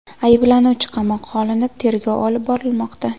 Ayblanuvchi qamoqqa olinib, tergov olib borilmoqda.